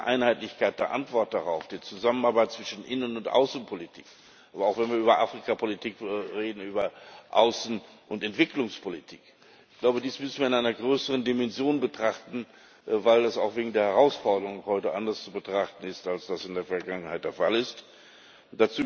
Und ich glaube, diese Einheitlichkeit der Antwort darauf die Zusammenarbeit zwischen Innen und Außenpolitik, aber auch, wenn wir über Afrikapolitik reden, der Außen und Entwicklungspolitik ich glaube, dies müssen wir in einer größeren Dimension betrachten, weil es auch wegen der Herausforderungen heute anders zu betrachten ist, als das in der Vergangenheit der Fall war.